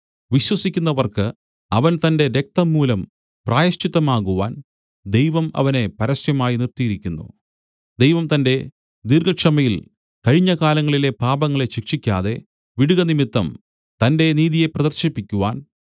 വിശ്വസിക്കുന്നവർക്ക് അവൻ തന്റെ രക്തംമൂലം പ്രായശ്ചിത്തമാകുവാൻ ദൈവം അവനെ പരസ്യമായി നിർത്തിയിരിക്കുന്നു ദൈവം തന്റെ ദീർഘക്ഷമയിൽ കഴിഞ്ഞ കാലങ്ങളിലെ പാപങ്ങളെ ശിക്ഷിക്കാതെ വിടുകനിമിത്തം തന്റെ നീതിയെ പ്രദർശിപ്പിക്കുവാൻ